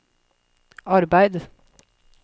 arbeid